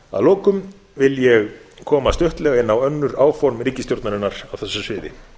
að lokum vil ég koma stuttlega inn á önnur áform ríkisstjórnarinnar á þessu sviði